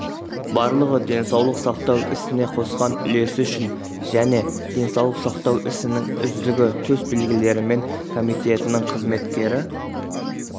барлығы денсаулық сақтау ісіне қосқан үлесі үшін және денсаулық сақтау ісінің үздігі төс белгілерімен комитетінің қызметкері